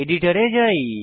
এডিটরে যাই